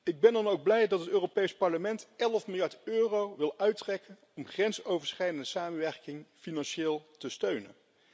Ik ben dan ook blij dat het Europees Parlement 11 miljard euro wil uittrekken om grensoverschrijdende samenwerking financieel te steunen.